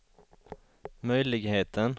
möjligheten